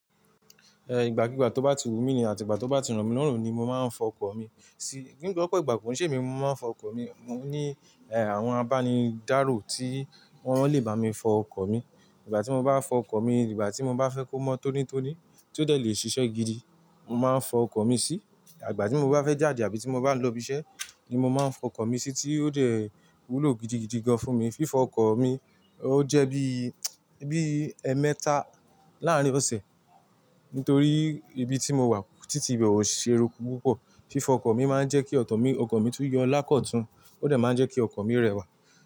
Eh, ìgbàkígbà tó bá ti wù mí ni àti ìgbà tó bá ti ro mí lorun ni mo máa ń fọ ọkọ̀ mi. Sí, ní gbogbo igba konṣẹ emi mo máa ń fọ ọkọ̀ mi. Mo ní, eh, àwọn abánidáro tí wọ́n lè bá mi fọ ọkọ̀ mi. Ìgbà tí mo bá fọ ọkọ̀ mi, ìgbà tí mo bá fẹ́ kó mọ́ tónítóní tí ó dẹ̀ le ṣiṣẹ́ gidi, mo máa ń fọ ọkọ̀ mi sí. Ìgbà tí mo bá fẹ́ jáde àbí tí mo bá ń lọ ibiṣẹ́ ni mo máa ń fọ ọkọ̀ mi sí tí ó dẹ̀ wúlò gidigidi gan fún mi. Fífọ ọkọ̀ mi ó jẹ́ bí, bí ẹemẹ́tà láàárín ọ̀sẹ̀. Nítorí ibi tí mo wà títí ibẹ̀ ò ṣé eruku púpọ̀. Fífọ ọkọ̀ mi máa ń jẹ́ kí ọ̀kọ̀ mí, ọkọ̀ mi tún yọ lákọ̀ọ́ tún. Ó dẹ̀ máa ń jẹ́ kí ọkọ̀ mi rẹwà.